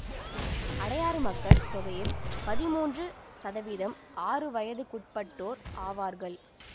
அடையாறு மக்கள் தொகையில் பதிமூன்று சதவீதம் ஆறு வயதுக்குட்பட்டோர் ஆவார்கள்